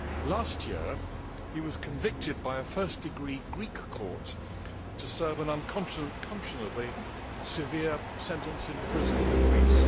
Last year he was convicted by a first degree Greek court to serve an unconscionably severe sentence in prison in Greece.